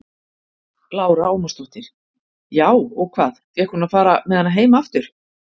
Lára Ómarsdóttir: Já, og hvað, fékk hún að fara með hana heim aftur?